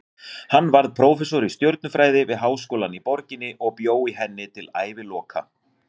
Hann varð prófessor í stjörnufræði við háskólann í borginni og bjó í henni til æviloka.